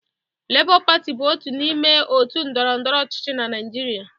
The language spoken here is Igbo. Lebọ Pati bụ otu n'ime òtù ndọrọndọrọ ọchịchị na Naịjirịa